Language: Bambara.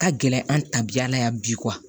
Ka gɛlɛn an ta bi yala yan bi